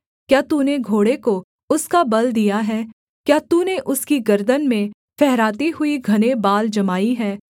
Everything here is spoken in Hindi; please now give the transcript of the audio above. क्या तूने घोड़े को उसका बल दिया है क्या तूने उसकी गर्दन में फहराती हुई घने बाल जमाई है